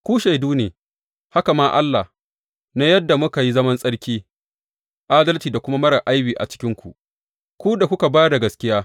Ku shaidu ne, haka ma Allah, na yadda muka yi zaman tsarki, adalci da kuma marar aibi a cikinku, ku da kuka ba da gaskiya.